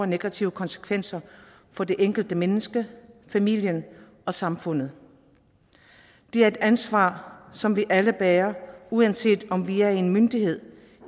negative konsekvenser for det enkelte menneske familien og samfundet det er et ansvar som vi alle bærer uanset om vi er en myndighed